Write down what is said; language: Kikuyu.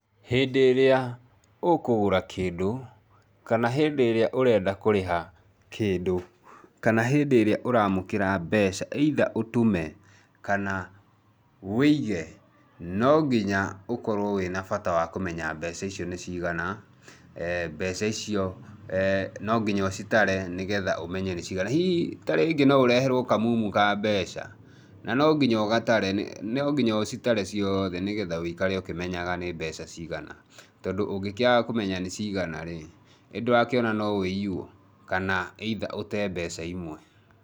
Hindĩ ĩrĩa ũkũgũra kĩndũ, kana hĩndĩ ĩrĩa ũrenda kũrĩha kĩndũ, kana hĩndĩ ĩrĩa ũramũkĩra mbeca, either ũtũme kana wĩige, no nginya ũkorwo wĩ na bata wa kũmenya mbeca icio nĩ cigana, mbeca icio no nginya ũcitare nĩgetha ũmenye nĩ cigana. Hihi ta rĩngĩ no ũreherwo kamumu ka mbeca, na no nginya ũgatare, no nginya ũcitare ciothe nĩgetha wĩikare ũkĩmenyaga nĩ mbeca cigana. Tondũ ũngĩkĩaga kũmenya nĩ cigana rĩ, ĩ ndũrakĩona no wĩiywo, kana either ũte mbeca imwe.